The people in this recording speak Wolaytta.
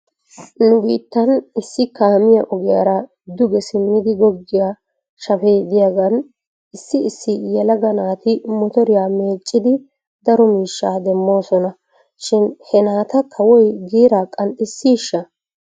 Nu biittan issi kaamiyaa ogiyaara duge simmidi goggiyaa shafee de'iyaagan issi issi yelaga naati motoriyaa meeccidi daro miishshaa demoosona shin he naata kawoy giiraa qanxxissiishsha?